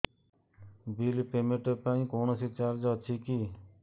bill payment ପାଇଁ କୌଣସି charge ଅଛି କି